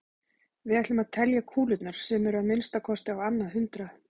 Við ætlum að telja kúlurnar sem eru að minnsta kosti á annað hundrað.